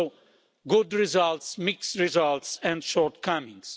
So, good results, mixed results and shortcomings.